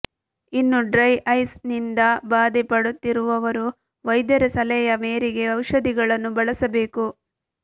ಇನ್ನು dry eyes ನಿಂದ ಬಾಧೆ ಪಡುತ್ತಿರುವವರು ವೈದ್ಯರ ಸಲಹೆಯ ಮೇರೆಗೆ ಔಷಧಿಗಳನ್ನು ಬಳಸಬೇಕು